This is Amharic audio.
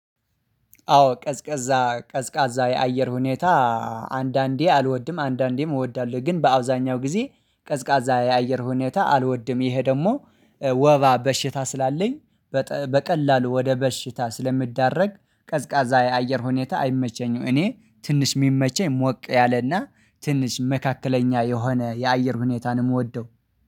አዎ ቀዝቀዛ ቀዝቃዛ የአየር ሁኔታ አንዳንዴ አልወድም አንዳንዴም እወዳለው ግን በአውዛኛው ጊዜ ቀዝቃዛ የአየር ሁኔታ አልወድም። ይሄ ደሞ ወባ በሽታ ስላለኝ በቀላሉ ወደ በሽታ ስለምዳረግ ቀዝቃዛ የአየር ሁኔታ አይመቸኝም። እኔ ትንሽ ሚመቸኝ ሞቅ ያለና ትንሽ መካከለኛ የሆነ የአየር ሁኔታ ነው ምወደው